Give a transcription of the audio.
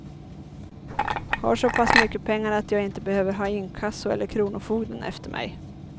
Har så pass mycket pengar att jag inte behöver ha inkasso eller kronofogden efter mig.